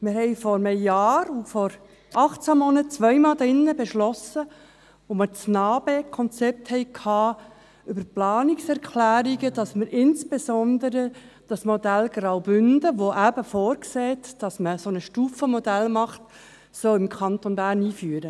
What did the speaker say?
Vor einem Jahr und vor 18 Monaten, also zweimal, beschlossen wir hier drin, als wir das Konzept Neustrukturierung des Asyl- und Flüchtlingsbereichs im Kanton Bern (NA-BE) diskutierten, dass wir das Modell Graubünden, welches vorsieht, dass man ein Stufenmodell macht, im Kanton Bern einführen.